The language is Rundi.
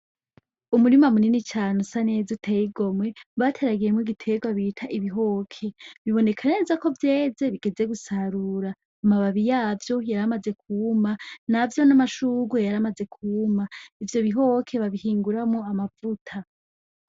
Umurima munini cane usa neza uteye igomwe, bateragiyemwo igitegwa bita ibihoke, biboneka neza ko vyeze bigeze gusarura, amababi yavyo yaramaze kuma, na vyo n'amashurwe yaramaze kuma, ivyo bihoke babihinguramwo amavuta.